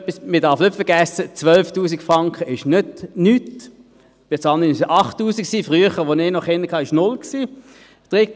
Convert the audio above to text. Man darf nicht vergessen, 12'000 Franken sind nicht nichts, bis anhin waren es 8000 Franken, früher als ich noch Kinder hatte, waren es 0 Franken.